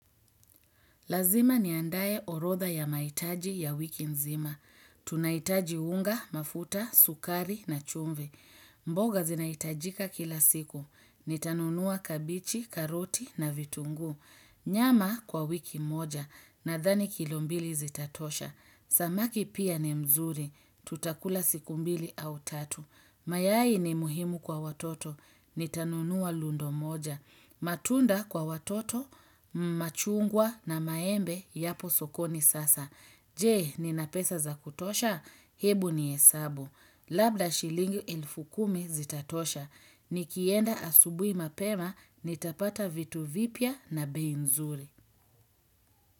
Lazima niandae orodha ya mahitaji ya wiki nzima. Tunahitaji unga, mafuta, sukari na chumvi. Mboga zinaitajika kila siku. Nitanunua kabichi, karoti na vitunguu. Nyama kwa wiki moja nadhani kilo mbili zitatosha. Samaki pia ni mzuri. Tutakula siku mbili au tatu. Mayai ni muhimu kwa watoto. Nitanunua lundo moja. Matunda kwa watoto, machungwa na maembe yapo sokoni sasa. Je, nina pesa za kutosha? Hebu nihesabu. Labda shilingi elfu kumi zitatosha. Nikienda asubuhi mapema, nitapata vitu vipya na bei nzuri.